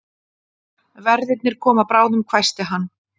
Verðirnir koma bráðum hvæsti hann.